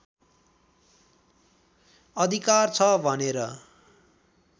अधिकार छ भनेर